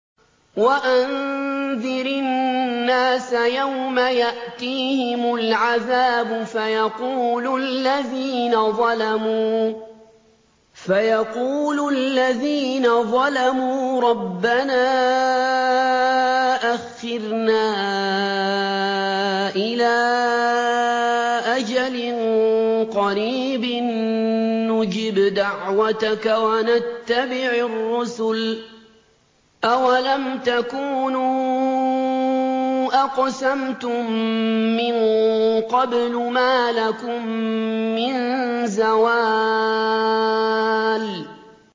وَأَنذِرِ النَّاسَ يَوْمَ يَأْتِيهِمُ الْعَذَابُ فَيَقُولُ الَّذِينَ ظَلَمُوا رَبَّنَا أَخِّرْنَا إِلَىٰ أَجَلٍ قَرِيبٍ نُّجِبْ دَعْوَتَكَ وَنَتَّبِعِ الرُّسُلَ ۗ أَوَلَمْ تَكُونُوا أَقْسَمْتُم مِّن قَبْلُ مَا لَكُم مِّن زَوَالٍ